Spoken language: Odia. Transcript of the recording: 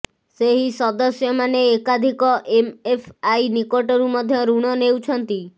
ସେହି ସଦସ୍ୟମାନେ ଏକାଧିକ ଏମଏଫଆଇ ନିକଟରୁ ମଧ୍ୟ ଋଣ ନେଉଛନ୍ତି